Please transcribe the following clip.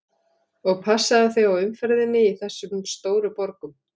Og passaðu þig á umferðinni í þessum stóru borgum.